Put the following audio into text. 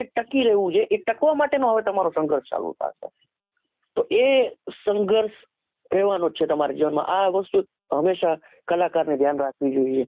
ટકી રહેવુ જોઈએ એ ટકવા માટેનું હવે તમારો સગર્ષ ચાલુ થાશે તો એ સંગર્ષ રેવાનો જ છે તમારા જીવન માં આ વસ્તુ જ હમેંશા કલાકાર ને ધ્યાન રાખવી જોઈએ